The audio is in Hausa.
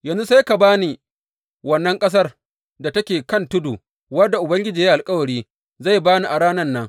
Yanzu sai ka ba ni wannan ƙasar da take kan tudu wadda Ubangiji ya yi alkawari zai ba ni a ranan nan.